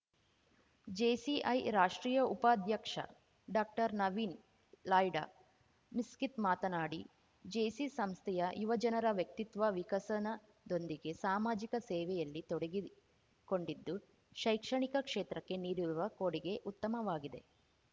JCI ರಾಷ್ಟ್ರೀಯ ಉಪಾಧ್ಯಕ್ಷ ಡಾಕ್ಟರ್ನವೀನ್‌ ಲಾಯ್ಡ ಮಿಸ್ಕಿತ್‌ ಮಾತನಾಡಿ ಜೇಸಿ ಸಂಸ್ಥೆಯ ಯುವಜನರ ವ್ಯಕ್ತಿತ್ವ ವಿಕಸನದೊಂದಿಗೆ ಸಾಮಾಜಿಕ ಸೇವೆಯಲ್ಲಿ ತೊಡಗಿಕೊಂಡಿದ್ದು ಶೈಕ್ಷಣಿಕ ಕ್ಷೇತ್ರಕ್ಕೆ ನೀಡಿರುವ ಕೊಡುಗೆ ಉತ್ತಮವಾಗಿದೆ